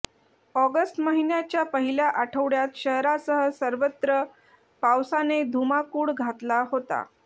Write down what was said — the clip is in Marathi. ऑगस्ट महिन्याच्या पहिल्या आठवड्यात शहरासह सर्वत्र पावसाने धुमाकूळ घातला होता